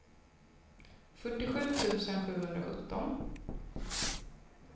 fyrtiosju tusen sjuhundrasjutton